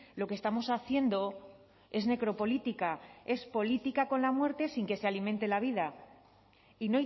lo que estamos haciendo es necropolítica es política con la muerte sin que se alimente la vida y